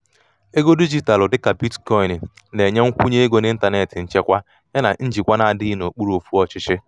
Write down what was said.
ego dijitalụ dịka bitcoini na-enye nkwụnye ego ego n’ịntanetị nchekwa yana njikwa na-adịghị n’okpuru ofú ọchịchị.